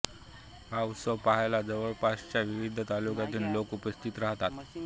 हा उत्सव पहायला जवळपासच्या विविध तालुक्यातून लोक उपस्थित राहतात